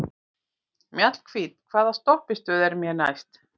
Mjallhvít, hvaða stoppistöð er næst mér?